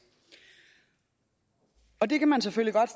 det kan man selvfølgelig godt